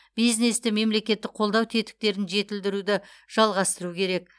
бизнесті мемлекеттік қолдау тетіктерін жетілдіруді жалғастыру керек